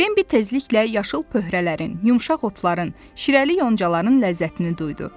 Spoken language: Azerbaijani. Bembi tezliklə yaşıl pöhrələrin, yumşaq otların, şirəli yoncaların ləzzətini duydu.